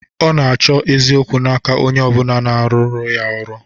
Ọ na-achọ eziokwu n'aka onye ọ bụla na-arụrụ ya ọrụ